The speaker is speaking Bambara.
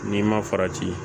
N'i ma farati